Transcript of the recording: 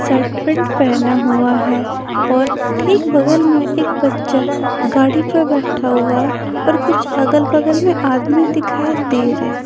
Shirt pant पहना हुआ है और ठीक बगल में एक बच्चा गाड़ी पर बैठा हुआ है और कुछ अगल-बगल में आदमी दिखाई दे रहे हैं।